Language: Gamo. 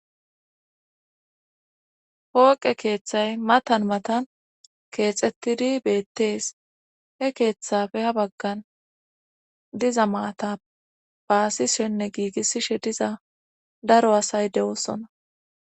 pooqe keeththay matan matan keexettidi beettees he keeththafe ha baggan diza maata baaishenne giigissishe diza daro asay dewoosona